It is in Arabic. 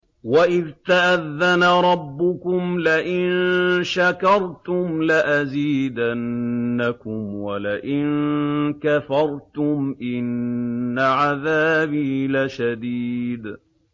وَإِذْ تَأَذَّنَ رَبُّكُمْ لَئِن شَكَرْتُمْ لَأَزِيدَنَّكُمْ ۖ وَلَئِن كَفَرْتُمْ إِنَّ عَذَابِي لَشَدِيدٌ